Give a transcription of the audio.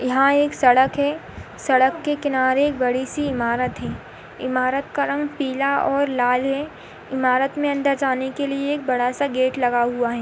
यहाँ एक सडक है सड़क के किनारे एक बड़ी सी ईमारत है इमारत का रंग पीला और लाल है इमारत में अन्दर जाने के लिए एक बड़ा सा गेट लगा हुआ है।